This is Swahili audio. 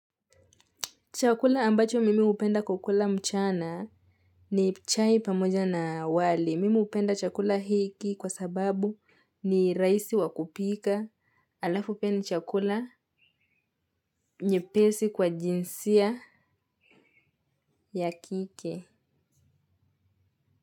Chakula ambacho mimi hupenda kukula mchana ni chai pamoja na wali. Mimi hupenda chakula hiki kwa sababu ni rahisi wa kupika alafu pia ni chakula nyepesi kwa jinsia ya kike.